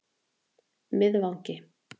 Miðvangi